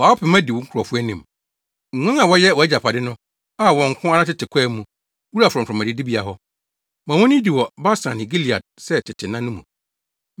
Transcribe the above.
Fa wo pema di wo nkurɔfo anim, nguan a wɔyɛ wʼagyapade no, a wɔn nko ara tete kwae mu, wura frɔmfrɔm adidibea hɔ. Ma wonnidi wɔ Basan ne Gilead sɛ tete nna no mu.